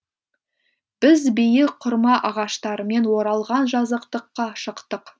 біз биік құрма ағаштарымен оралған жазықтыққа шықтық